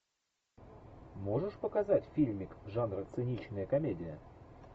можешь показать фильмик жанра циничная комедия